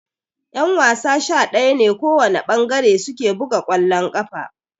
Ƴan-wasa sha daya ne kowana ɓangare suke buga kwallon ƙafa.